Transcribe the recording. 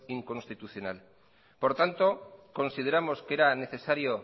inconstitucional por tanto consideramos que era necesario